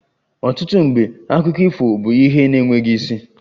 Ọtụtụ mgbe akụkọ ifo bụ ihe na-enweghị isi